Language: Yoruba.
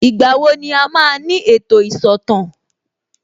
Ìgbà wo ni a máa ní ètò ìsọ̀tàn